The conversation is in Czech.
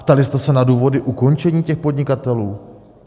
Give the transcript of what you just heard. Ptali jste se na důvody ukončení těch podnikatelů?